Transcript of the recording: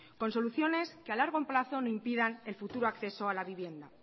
con soluciones que a largo plazo no impidan el futuro acceso a la vivienda